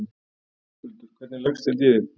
Höskuldur: Hvernig leggst þetta í þig?